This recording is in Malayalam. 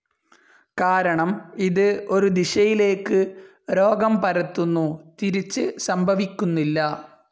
കാരണം ഇത് ഒരു ദിശയിലേക്ക് രോഗം പരത്തുന്നു, തിരിച്ച് സംഭവിക്കുന്നില്ല.